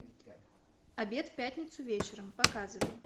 обед в пятницу вечером показывай